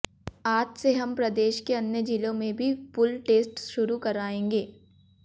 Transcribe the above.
आज से हम प्रदेश के अन्य जिलों में भी पूल टेस्ट शुरू कराएंगे